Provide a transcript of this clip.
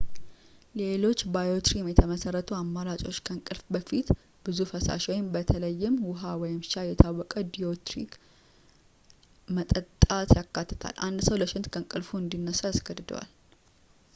ሌሎች ባዮሪትም የተመሰረቱ አማራጮች ከእንቅልፍዎ በፊት ብዙ ፈሳሽ በተለይም ውሃ ወይም ሻይ፣ የታወቀ ዲዩሪቲክ መጠጣት ያካትታል፣ አንድ ሰው ለሽንት ከእንቅልፍ እንዲነሳ ያስገድደዋል